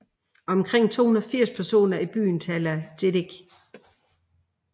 Omkring 280 personer i byen taler jedek